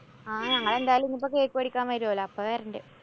ആ ഞങ്ങളെന്തായാലും ഇനിപ്പൊ cake വേടിക്കാന്‍ വരുവല്ലോ. അപ്പോ വരണ്ട്.